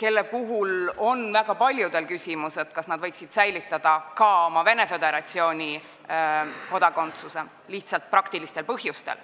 Nende puhul on väga paljudel tekkinud küsimus, kas nad võiksid säilitada ka oma Venemaa Föderatsiooni kodakondsuse lihtsalt praktilistel põhjustel,